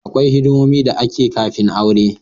Kawai hidimomi da ake daya kafin aure